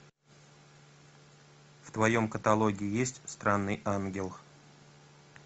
в твоем каталоге есть странный ангел